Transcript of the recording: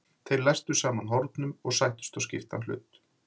Þeir læstu saman hornum og sættust á skiptan hlut.